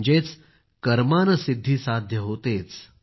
म्हणजेच कर्मानं सिद्धी साध्य होतेच